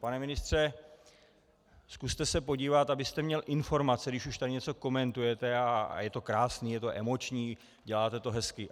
Pane ministře, zkuste se podívat, abyste měl informace, když už tady něco komentujete - a je to krásné, je to emoční, děláte to hezky.